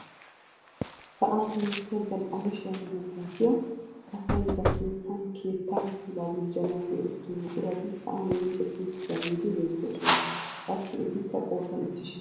Sa'an hemettiyaa gal"amushiyaa meraa milatiyaa asay ba keettaan keettaa puulaa gujjanawu go"ettiyoo buqurati sa'an miccetti uttidageeti beettoosona. qassi etikka qoodan ichchashsha.